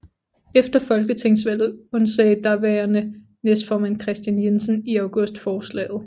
Efter folketingsvalget undsagde daværende næstformand Kristian Jensen i august forslaget